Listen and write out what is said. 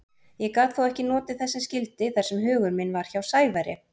Ég gat þó ekki notið þess sem skyldi þar sem hugur minn var hjá Sævari.